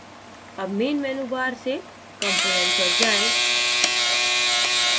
अब main menu bar में component पर जाएँ